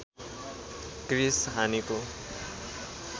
Chris हानिको